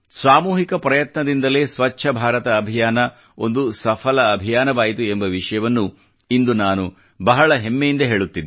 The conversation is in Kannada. ಸಾಮೂಹಿಕ ಪ್ರಯತ್ನದಿಂದಲೇ ಸ್ವಚ್ಛ ಭಾರತ ಅಭಿಯಾನ ಒಂದು ಸಫಲ ಅಭಿಯಾನವಾಯಿತು ಎಂಬ ವಿಷಯವನ್ನು ಇಂದು ನಾನು ಬಹಳ ಹೆಮ್ಮೆಯಿಂದ ಹೇಳುತ್ತಿದ್ದೇನೆ